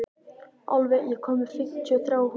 Álfey, ég kom með fimmtíu og þrjár húfur!